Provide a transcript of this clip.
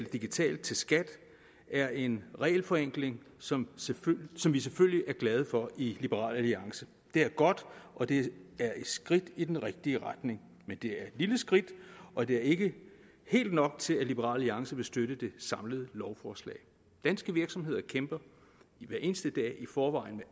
digitalt til skat er en regelforenkling som som vi selvfølgelig er glade for i liberal alliance det er godt og det er et skridt i den rigtige retning men det er et lille skridt og det er ikke helt nok til at liberal alliance vil støtte det samlede lovforslag danske virksomheder kæmper hver eneste dag i forvejen